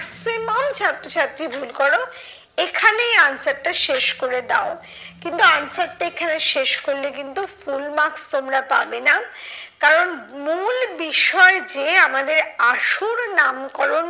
maximum ছাত্র ছাত্রী ভুল করো, এখানেই answer টা শেষ করে দাও। কিন্তু answer টা এখানে শেষ করলে কিন্তু full marks তোমরা পাবে না। কারণ মূল বিষয় যে আমাদের আসল নামকরণ